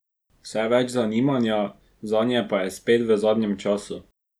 Vse več zanimanja zanje pa je spet v zadnjem času.